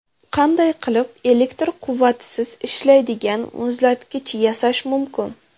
Qanday qilib elektr quvvatisiz ishlaydigan muzlatkich yasash mumkin?.